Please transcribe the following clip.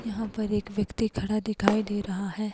यहा पर एक व्यक्ति खड़ा दिखाई दे रहा है।